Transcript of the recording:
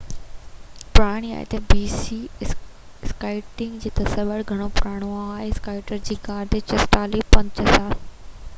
skiing جو تصور گهڻو پراڻو آهي — اسڪائير جي غار تي چٽسالي 5000 bc پراڻي آهي